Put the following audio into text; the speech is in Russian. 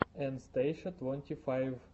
эн стейша твонти файв